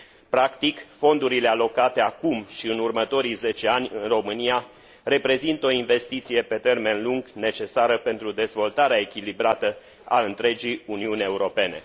Practic, fondurile alocate acum și în următorii zece ani în România reprezintă o investiție pe termen lung necesară pentru dezvoltarea echilibrată a întregii Uniuni Europene.